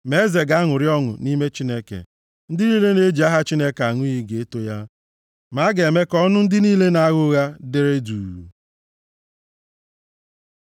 Ma eze ga-aṅụrị ọṅụ nʼime Chineke; ndị niile na-eji aha Chineke aṅụ iyi ga-eto ya, ma a ga-eme ka ọnụ ndị niile na-agha ụgha dere duu.